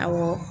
Awɔ